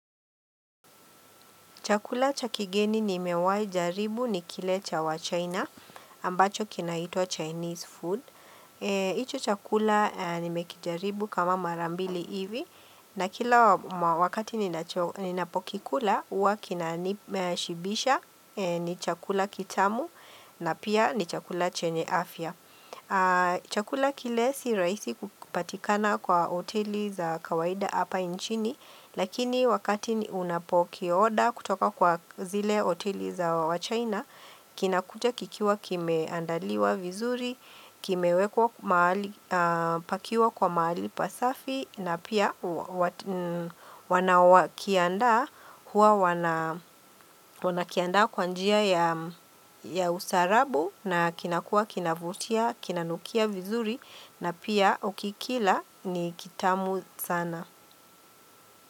Chakula cha kigeni nimewahi jaribu ni kile cha waChina ambacho kinaitwa Chinese food. Hicho chakula nimekijaribu kama mara mbili hivi na kila wakati ninapokikula huwa kinanishibisha ni chakula kitamu na pia ni chakula chenye afya. Chakula kile si rahisi kupatikana kwa hoteli za kawaida hapa nchini Lakini wakati unapokioda kutoka kwa zile hoteli za wachina Kinakuta kikiwa kimeandaliwa vizuri Kimewekwa pakiwa kwa mahali pasafi na pia wanaokiandaa huwa wanakiandaa kwa njia ya ustaarabu na kinakua kinavutia, kinanukia vizuri na pia ukikila ni kitamu sana.